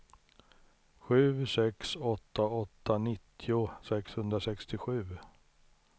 sju sex åtta åtta nittio sexhundrasextiosju